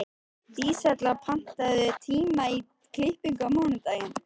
Dísella, pantaðu tíma í klippingu á mánudaginn.